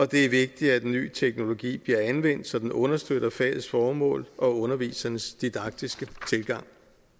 det er vigtigt at en ny teknologi bliver anvendt så den understøtter fagets formål og undervisernes didaktiske tilgang